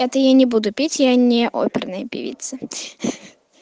это я не буду пить я не оперная певица